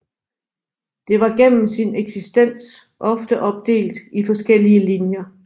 Det var gennem sin eksistens ofte opdelt i forskellige linjer